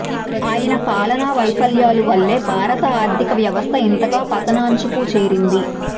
ఆయన పాలన వైఫల్యాల వల్లే భారత ఆర్థిక వ్యవస్థ ఇంతగా పతనాంచుకు చేరింది